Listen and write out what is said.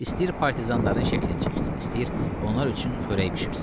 İstəyir partizanların şəklini çəksin, istəyir onlar üçün xörək bişirsin.